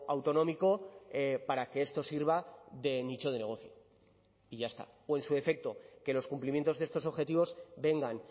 autonómico para que esto sirva de nicho de negocio y ya está o en su defecto que los cumplimientos de estos objetivos vengan